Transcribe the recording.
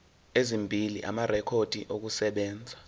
ezimbili amarekhodi okusebenza